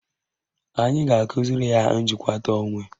Anyị ga-akụziri ya njikwata onwe.